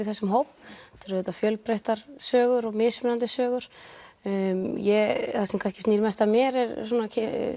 þessum hóp þetta eru auðvitað fjölbreyttar sögur og mismunandi sögur það sem kannski snýr mest að mér eru svona